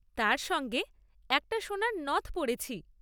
তার সঙ্গে একটা সোনার নথ পরেছি যেটা ছবিতে আমায় পরে থাকতে দেখছ।